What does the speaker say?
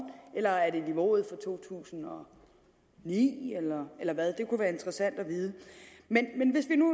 eller er det niveauet fra to tusind og ni eller hvad det kunne være interessant at vide men men hvis vi nu